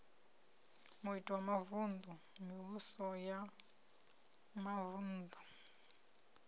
mavun ḓu mivhuso ya mavuṋdu